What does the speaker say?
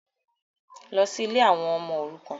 Lọ sí ilé àwọn ọmọ òrukàn.